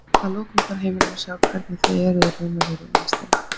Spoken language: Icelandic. Að lokum fær heimurinn að sjá hvernig þið eruð í raun og veru innst inni.